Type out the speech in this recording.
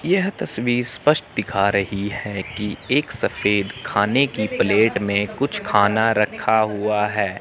यह तस्वीर स्पष्ट दिखाई रही है कि एक सफेद खाने की प्लेट में कुछ खाना रखा हुआ है।